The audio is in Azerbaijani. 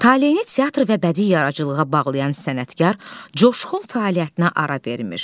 Taleini teatr və bədii yaradıcılığa bağlayan sənətkar coşqun fəaliyyətinə ara verir.